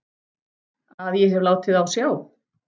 Að ég hef látið á sjá.